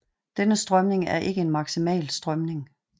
Denne strømning er ikke en maksimal strømning